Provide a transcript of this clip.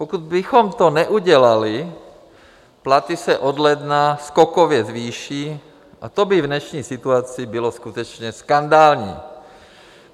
Pokud bychom to neudělali, platy se od ledna skokově zvýší, a to by v dnešní situaci bylo skutečně skandální.